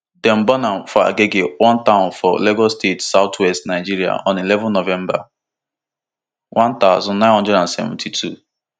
dem born am for agege one town for lagos state southwest nigeria on eleven november one thousand, nine hundred and seventy-two